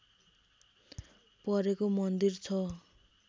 परेको मन्दिर छ